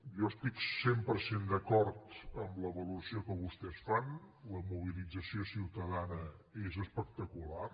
jo estic cent per cent d’acord amb la valoració que vostès fan la mobilització ciutadana és espectacular